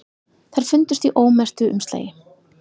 Þær fundust í ómerktu umslagi